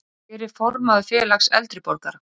Hver er formaður félags eldri borgara?